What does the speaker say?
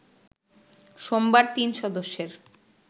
সোমবার তিন সদস্যের